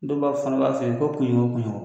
Denbaw fana b'a fɛ ko kunɲɔgɔn o kunɲɔgɔn.